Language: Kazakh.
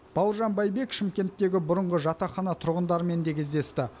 бауыржан байбек шымкенттегі бұрынғы жатақхана тұрғындарымен де кездесті